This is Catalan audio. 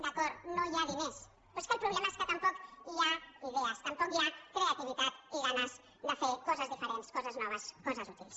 d’acord no hi ha diners però és que el problema és que tampoc hi ha idees tampoc hi ha creativitat i ganes de fer coses diferents coses noves coses útils